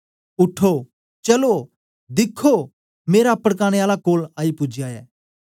उठो चलो दिखो मेरा पडकाने आला कोल आई पूजया ऐ